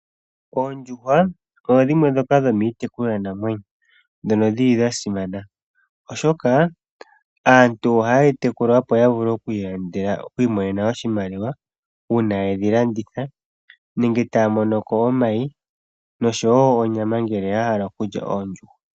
Oondjuhwa odho dhimwe ndhoka dhomiitekulwa namwenyo dhono dhili dhasimana, oshoka aantu ohayedhi tekula opo yavule okwiimonena oshimaliwa uuna yedhilanditha, nenge taya monoko omayi oshowo onyama ngele yahala okulya oondjuhwa.